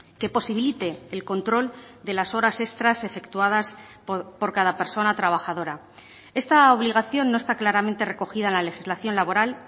que posibilite el control de las horas extras efectuadas por cada persona trabajadora esta obligación no está claramente recogida en la legislación laboral